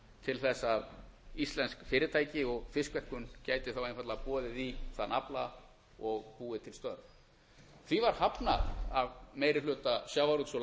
til þess að íslensk fyrirtæki og fiskverkun gæti þá einfaldlega boðið í þann afla og búið til störf því var hafnað af meiri hluta sjávarútvegs og